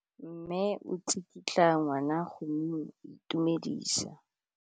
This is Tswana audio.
Mme o tsikitla ngwana go mo itumedisa.